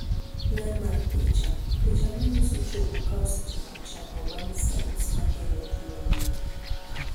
ler mar picha, picha manyiso chogo ka osechako chango bang' sels mageng'o tuo nenore